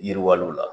Yiriwaliw la